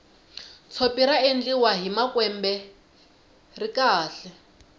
tshopi ra endliwa hi makwembe ri kahle